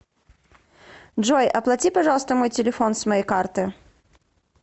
джой оплати пожалуйста мой телефон с моей карты